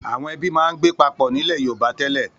Àwọn ẹbí máa ń gbé papọ̀ nílẹ̀ Yorùbá tẹ́lẹ̀.